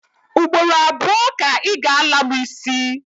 Ugboro abuo ka I ga-ala mu isi